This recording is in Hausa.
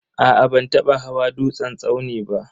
Aa ban taba hawa dutsen tsauni ba.